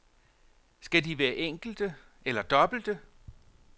Skal de være enkelte eller dobbelte?